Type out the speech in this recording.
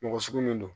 Mɔgɔ sugu min don